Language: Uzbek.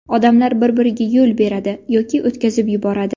Odamlar bir-biriga yo‘l beradi yoki o‘tkazib yuboradi.